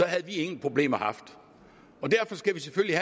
havde vi ingen problemer haft derfor skal vi selvfølgelig